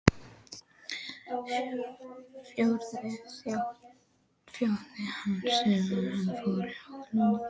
Friðþjófi og fannst sumum hann fram úr hófi langorður.